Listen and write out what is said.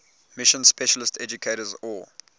mission specialist educators or